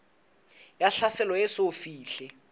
ya tlhaselo e eso fihle